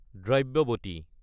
Dravyavati